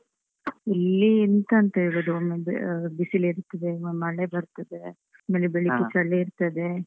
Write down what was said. ಇಲ್ಲೀ ಎಂತಂತ್ ಹೇಳುದು, ಒಮ್ಮೆ ಆಹ್ ಬಿಸಿಲ್ ಇರ್ತದೆ, ಒಮ್ಮೆ ಮಳೆ ಬರ್ತದೆ, ಆಮೇಲೆ ಬೆಳಿಗ್ಗೆ ಚಳಿ ಇರ್ತದೆ.